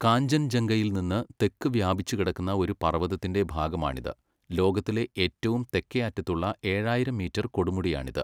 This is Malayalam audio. കാഞ്ചൻജംഗയിൽ നിന്ന് തെക്ക് വ്യാപിച്ചുകിടക്കുന്ന ഒരു പർവതത്തിന്റെ ഭാഗമാണിത്, ലോകത്തിലെ ഏറ്റവും തെക്കേ അറ്റത്തുള്ള ഏഴായിരം മീറ്റർ കൊടുമുടിയാണിത്.